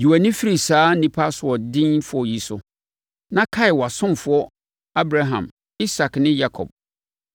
Yi wʼani firi saa nnipa asoɔdenfoɔ yi so na kae wʼasomfoɔ Abraham, Isak ne Yakob.